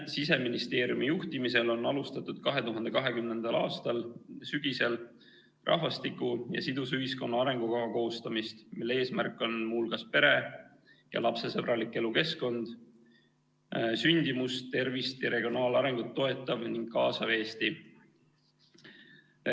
Siseministeeriumi juhtimisel on alustatud 2020. aasta sügisel rahvastiku ja sidusa ühiskonna arengukava koostamist, mille eesmärk on muu hulgas pere- ja lapsesõbralik elukeskkond, sündimust, tervist ja regionaalarengut toetav ja kaasav Eesti.